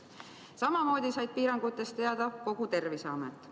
Samamoodi sai piirangutest teada kogu Terviseamet.